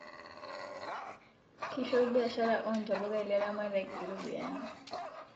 Kiisho biashara oo ntapuka ilaramatak iropiani